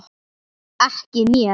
Ekki mér.